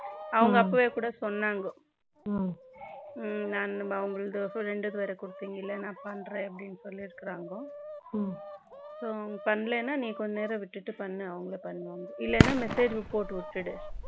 அவங்க அப்பவே கூட சொன்னாங்க நான் உங்களுக்கு ரெண்டு பெயருடையது கொடுத்தீங்கள நான் பண்றேன்னு சொல்லி இருக்காங்க so அவங்க பண்ணலைன்னா நீ கொஞ்சம் நேரம் விட்டுட்டு பண்ணு அவங்களே பண்ணுவாங்க இல்லைனா message போட்டு விட்டுடு